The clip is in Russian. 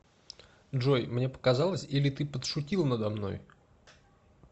джой мне показалось или ты подшутил надо мной